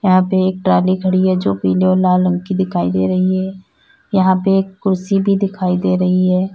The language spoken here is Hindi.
यहां पे एक ट्राली खड़ी है जो पीले और लाल रंग की दिखाई दे रही है। यहां पे एक कुर्सी भी दिखाई दे रही है।